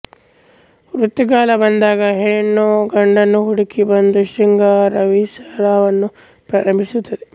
ಋತುಗಾಲ ಬಂದಾಗ ಹೆಣ್ಣು ಗಂಡನ್ನು ಹುಡುಕಿ ಬಂದು ಶೃಂಗಾರವಿಲಾಸವನ್ನು ಪ್ರಾರಂಭಿಸುತ್ತದೆ